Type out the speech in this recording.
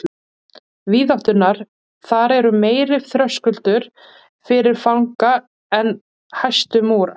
Víðátturnar þar eru meiri þröskuldur fyrir fanga en hæstu múrar.